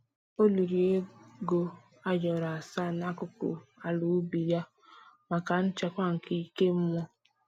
O liri ego ayoro asaa n'akụkụ ala ubi ya maka nchekwa nke ike mmụọ